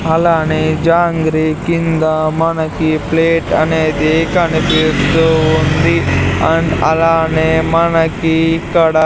అలానే జాంగ్రీ కింద మనకి ప్లేట్ అనేది కనిపిస్తూ ఉంది అండ్ అలానే మనకి ఇక్కడ --